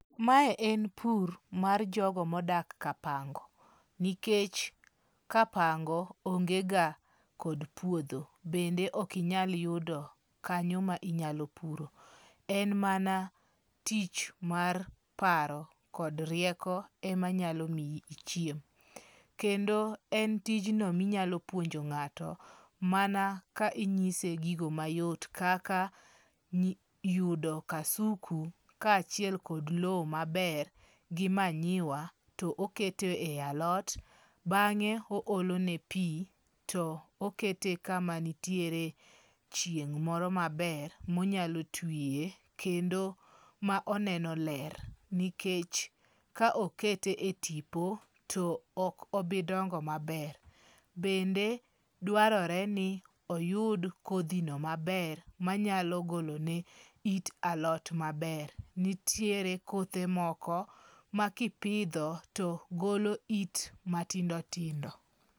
Mae en pur mar jogo modak kapango, nikech kapango ongega kod puodho. Bende ok inyal yudo kanyo ma inyalo puro. En mana tich mar paro kod rieko ema nyalo miyi ichiem. Kendo en tijno minyalo puonjo ng'ato mana kinyise gigo mayot kaka yudo kasuku kaachiel kod lowo maber gi manyiwa to oketo e alot. Bang'e oolo ne pi, to okete kama nitiere chieng' moro maber ma onyalo twiye kendo ma oneno ler. Nikech ka okete e tipo, to ok obi dongo maber. Bende dwarore ni oyud kodhi no maber manyalo golone it alot maber. Nitiere kothe moko makipidho to golo it matindo tindo.